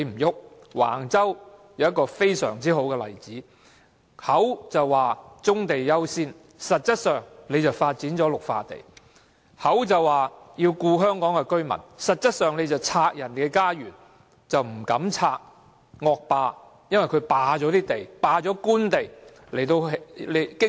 橫洲便是一個很好的例子，政府口說棕地優先，實質上便發展綠化地；口說要照顧香港居民，實質上卻拆人家園，但卻不敢到被惡霸霸佔用作經營車場的官地進行清拆。